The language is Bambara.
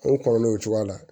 O kɔrɔlen o cogoya la